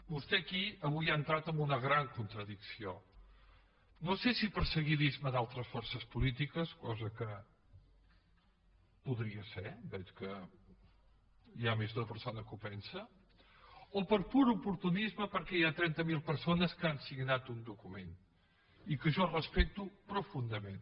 vostè aquí avui ha entrat amb una gran contradicció no sé si per seguidisme d’altres forces polítiques cosa que podria ser veig que hi ha més d’una persona que ho pensa o per pur oportunisme perquè hi ha trenta mil persones que han signat un document i que jo respecto profundament